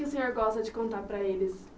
O que o senhor gosta de contar para eles?